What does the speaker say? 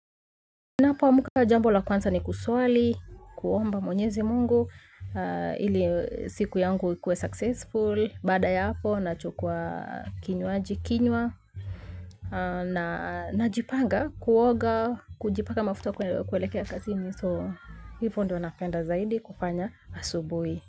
Na po muka jambo la kwanza ni kuswali, kuomba mwenyezi mungu, ili siku yangu ikue successful, bada ya po na chukwa kinyuaji kinyuwa na najipanga kuoga, kujipaka mafuta kuelekea kazini so hivyo ndio napenda zaidi kufanya asubuhi.